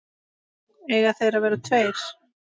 Eiga þeir að vera tveir?